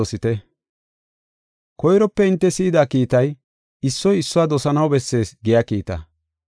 Koyrope hinte si7ida kiitay, “Issoy issuwa dosanaw bessees” giya kiitaa.